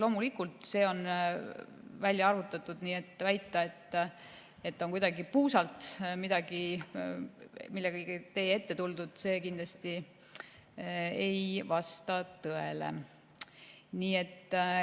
Loomulikult on see välja arvutatud, nii et väide, et kuidagi puusalt on millegagi teie ette tuldud, kindlasti ei vasta tõele.